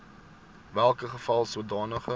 welke geval sodanige